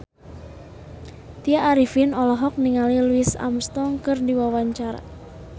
Tya Arifin olohok ningali Louis Armstrong keur diwawancara